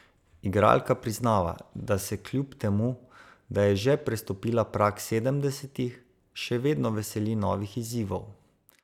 Igralka priznava, da se kljub temu, da je že prestopila prag sedemdesetih, še vedno veseli novih izzivov.